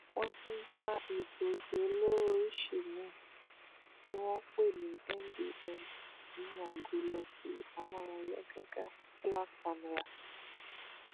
wọn tún bá egbòogi olóró oríṣìí mìín tí wọn pè ní mdma nínú agolo ọtí amóráyàgàgá black camera